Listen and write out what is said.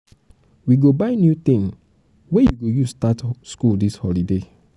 we go buy new tin wey you go use start skool dis holiday.